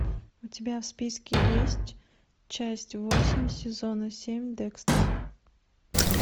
у тебя в списке есть часть восемь сезона семь декстер